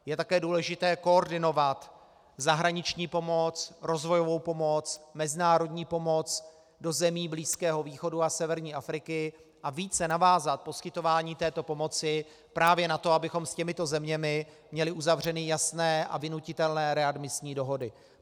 Je také důležité koordinovat zahraniční pomoc, rozvojovou pomoc, mezinárodní pomoc do zemí Blízkého východu a severní Afriky a více navázat poskytování této pomoci právě na to, abychom s těmito zeměmi měli uzavřeny jasné a vynutitelné readmisní dohody.